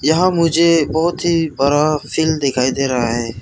यहां मुझे बहोत ही बड़ा फील्ड दिखाई दे रहा है।